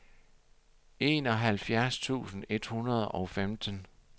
enoghalvfjerds tusind et hundrede og femten